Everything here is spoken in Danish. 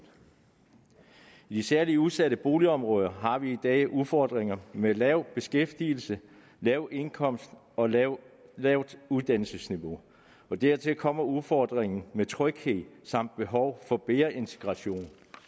i de særligt udsatte boligområder har vi i dag udfordringer med lav beskæftigelse lav indkomst og lavt lavt uddannelsesniveau dertil kommer udfordringen med tryghed samt behov for bedre integration